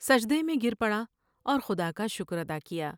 سجدے میں گر پڑا اور خدا کا شکر ادا کیا ۔